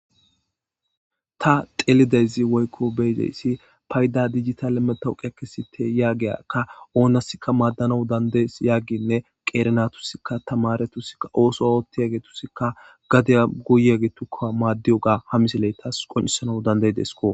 ta telidezi woykko beyideyssi payda digitale metawuqe kesite yaagiyaka oonasikka maaddanau dandeys yagginne qeerenatusikka tamaretusikka ooso ootti yagetusikka gadeya guyagetukka maaddiyo ga hamiseleytas qoncesana dandey desko